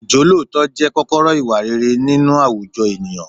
Ìjọ́lóòótọ́ jẹ́ kọ́kọ́rọ́ ìwà rere nínú àwùjọ ènìyàn.